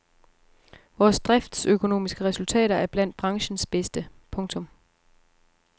Vores driftsøkonomiske resultater er blandt branchens bedste. punktum